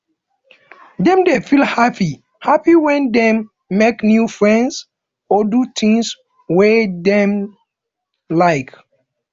dem dey feel happy happy when dem make new friends or do things wey dem like